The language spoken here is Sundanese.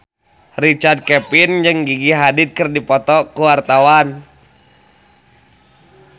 Richard Kevin jeung Gigi Hadid keur dipoto ku wartawan